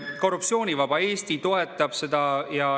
Korruptsioonivaba Eesti toetab seda.